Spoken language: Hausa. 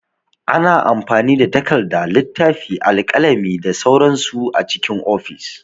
Ana amfani da takarda, littafi, alƙalami da sauran su a cikin ofis.